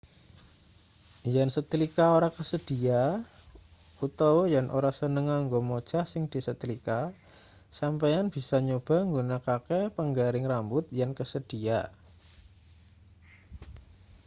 yen setlika ora kasedhiya utawa yen ora seneng nganggo mojah sing disetlika sampeyan bisa nyoba nggunakake panggaring rambut yen kasedhiya